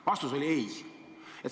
Vastus oli: ei.